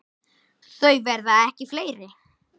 Þau verða ekki fleiri.